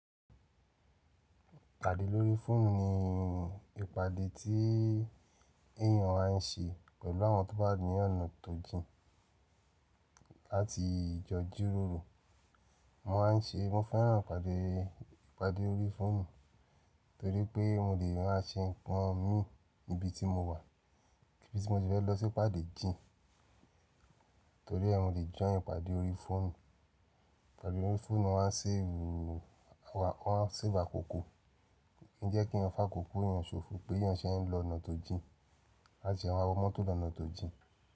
Pàdé lórí fóònù ni ìpàdé tí èèyàn á ń ṣe pẹ̀lú àwọn tó bá ní ọ̀nà tòjìn láti jọ jíróró. Mo máà ń ṣe, mo fẹ́ràn ìpàdé, ìpàdé lórí fóònù torí pé mo lè má a ṣe nǹkan mi níbi tí mo wà, níbi tí mo fi fẹ́ lọ sí ìpàdé jin, torí ẹ́ mo lè jọ̀yàn ìpàdé lórí fóònù. Ìpàdé lórí fóònù náà á ń sìn ìrù, wọ́n á ń sìn ìgbà kúúkù. Ó ń jẹ́ kí wọn fà á kúkù, èèyàn ṣòfò pé èèyàn ṣẹ́ ẹ ń lọ ọ̀nà tòjì láti ṣe àwọn ọmọ tó lọ ọ̀nà tòjì.